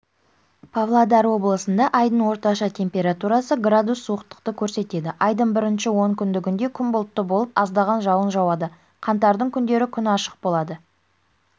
павлодар облысындаайдың орташа температурасы градус суықтықты көрсетеді айдың бірінші онкүндігінде күн бұлтты болып аздаған жауын жауады қаңтардың күндері күн ашық болады